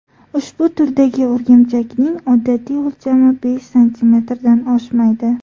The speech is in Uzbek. Ushbu turdagi o‘rgimchakning odatiy o‘lchami besh santimetrdan oshmaydi.